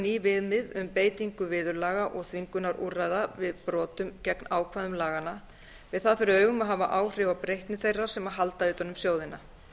ný viðmið um beitingu viðurlaga og þvingunarúrræða við brotum gegn ákvæðum laganna með það fyrir augum að hafa áhrif á breytni þeirra sem halda utan um sjóðina